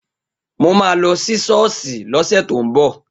Mo ma lọ sí sọ́ọ́sì lọ́sẹ̀ tó ń bọ̀